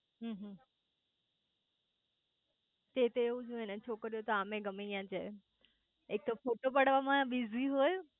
હમ હમ તે એતો એવુજ હોય ને છોકરી યો તો આમેય ગમેયા જાય એક તો ફોટો પડાવમાં બીજી હોય